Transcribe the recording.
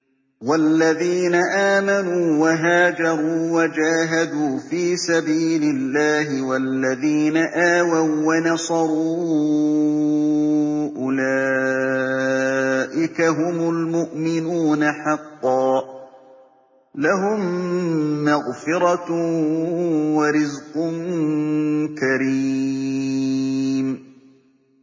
وَالَّذِينَ آمَنُوا وَهَاجَرُوا وَجَاهَدُوا فِي سَبِيلِ اللَّهِ وَالَّذِينَ آوَوا وَّنَصَرُوا أُولَٰئِكَ هُمُ الْمُؤْمِنُونَ حَقًّا ۚ لَّهُم مَّغْفِرَةٌ وَرِزْقٌ كَرِيمٌ